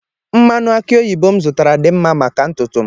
Mmanụ aki oyibo m zụtara dị mma maka ntutu m.